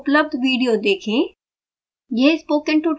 निम्न लिंक पर उपलब्ध विडियो देखें